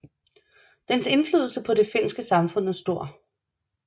Dens indflydelse på det finske samfund er stor